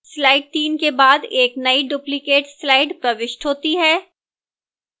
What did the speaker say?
slide 3 के बाद एक नई duplicate slide प्रविष्ट होती है